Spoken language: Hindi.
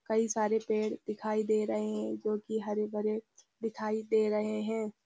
कई सारे पेड़ दिखाई दे रहे हैं जो की हरे भरे दिखाई दे रहे हैं|